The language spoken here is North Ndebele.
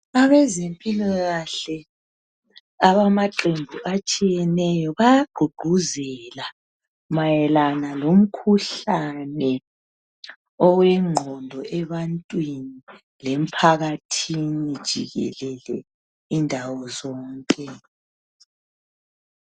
Abezempilakahle abamaqembu atshiyeneyo baya gqugquzela mayelana ngomkhuhlane owengqondo ebantwini lemphakathini jikelele indawo zonke.